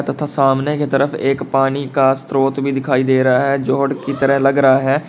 तथा सामने की तरफ एक पानी का स्त्रोत्र भी दिखाई दे रहा है जोड़ की तरह लग रहा है।